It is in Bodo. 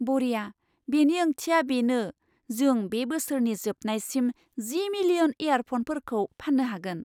बरिया! बेनि ओंथिया बेनो जों बे बोसोरनि जोबनायसिम जि मिलियन एयारफ'नफोरखौ फान्नो हागोन!